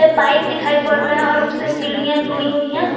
Pipe दिखाई पड़ रहे हैं और उसे सीढ़ियां जुड़ी हुई है।